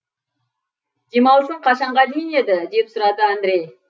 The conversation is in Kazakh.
демалысың қашанға дейін еді деп сұрады андрей